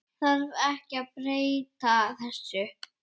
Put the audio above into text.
Þarf ekki að breyta þessu?